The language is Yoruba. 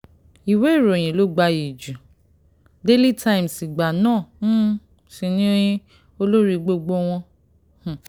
ìwé ìròyìn ló gbayì ju daily times ìgbà náà um sí ni olórí gbogbo wọn um